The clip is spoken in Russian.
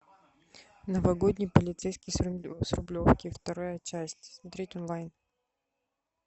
новогодний полицейский с рублевки вторая часть смотреть онлайн